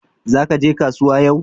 Zakaje kasuwa yau?